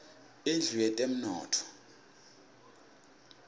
indlu yetemnotfo